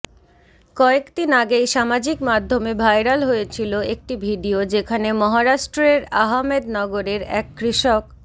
কয়েক দিন আগেই সামাজিক মাধ্যমে ভাইরাল হয়েছিল একটি ভিডিয়ো যেখানে মহারাষ্ট্রের আহমেদনগরের এক কৃষক